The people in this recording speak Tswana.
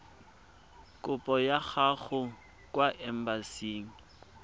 kopo ya gago kwa embasing